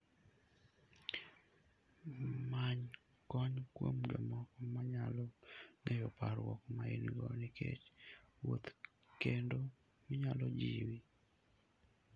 Many kony kuom jomoko manyalo ng'eyo parruok ma in-go nikech wuoth, kendo manyalo jiwi.